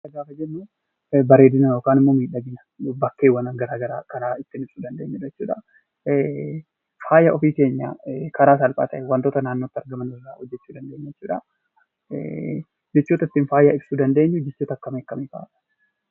Faaya gaafa jennu bareedina yookiin miidhagina bakkeewwan garagaraa kan ittiin ibsuu dandeenyudha jechuudha. Faaya ofii keenyaa karaa salphaa ta'een wantoota naannootti argaman irraa hojjechuu dandeenya jechuudha. Jechoota ittiin faaya ibsuu dandeenya jechoota akkamii akkamii fa'a?